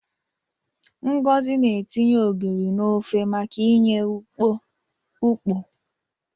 Ngozi na-etinye ogiri n'ofe maka inye ukpo.